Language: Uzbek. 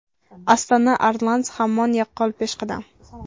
Astana Arlans hamon yaqqol peshqadam.